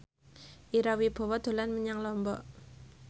Ira Wibowo dolan menyang Lombok